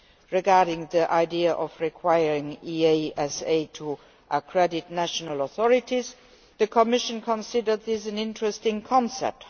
Regarding the idea of requiring the EASA to accredit national authorities, the Commission considered this an interesting concept.